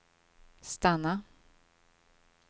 stanna